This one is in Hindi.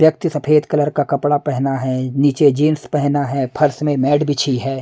व्यक्ति सफेद कलर का कपड़ा पहना है नीचे जींस पहना है फर्श में मैट बिछी है।